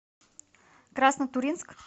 краснотурьинск